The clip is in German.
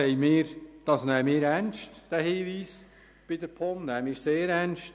Diesen Hinweis nehmen wir bei der POM sehr ernst.